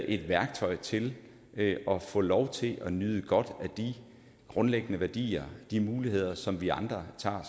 et værktøj til at få lov til at nyde godt af de grundlæggende værdier de muligheder som vi andre tager